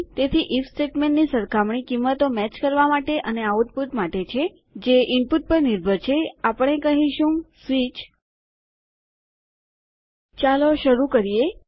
તેથી ઇફ સ્ટેટમેન્ટની સરખામણી કિંમતો મેચ કરવા માટે અને આઉટપુટ માટે છે જે ઇનપુટ પર નિર્ભર છે આપણે કહીશું સ્વીચ ચાલો શરૂ કરીએ